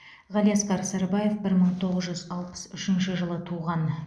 ғалиасқар сарыбаев бір мың тоғыз жүз алпыс үшінші жылы туған